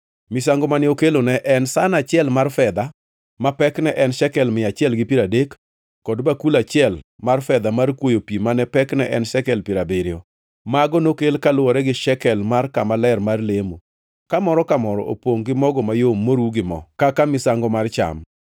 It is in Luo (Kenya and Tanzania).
Misango mane okelo ne en san achiel mar fedha ma pekne en shekel mia achiel gi piero adek, kod bakul achiel mar fedha mar kwoyo pi ma pekne en shekel piero abiriyo. Mago nokel kaluwore gi shekel mar kama ler mar lemo, ka moro ka moro opongʼ gi mogo mayom moru gi mo kaka misango mar cham;